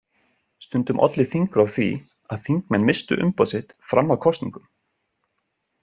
Stundum olli þingrof því að þingmenn misstu umboð sitt fram að kosningum.